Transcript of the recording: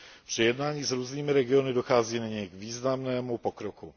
Při jednáních s různými regiony dochází nyní k významnému pokroku.